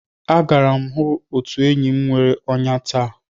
Agara m otu enyi bnwere ọnya ọnya taa.